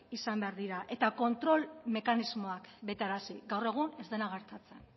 izan behar dira eta kontrol mekanismoak betearazi gaur egun ez dena gertatzen